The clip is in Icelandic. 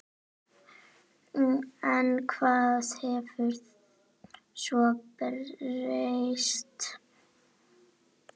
En hvað hafði svo breyst?